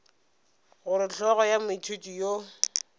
gore hlogo ya moithuti yo